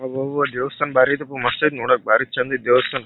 ಅಬ್ಬಬ್ಬಾ ದೇವಸ್ಥಾನ ಬಾರಿ ಐತಪ್ಪ ಮಸ್ತ್ ಐತೆ ನೋಡಕ್ ಬಾರಿ ಚಂದ್ ಐತೆ ದೇವಸ್ಥಾನ.